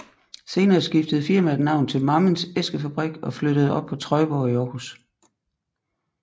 Senere skiftede firmaet navn til Mammens Æskefabrik og flyttede op på Trøjborg i Århus